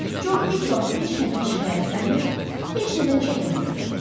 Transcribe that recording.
Co heç vaxt heç nədən şikayətlənmir, heç nədən çəkinmirdi.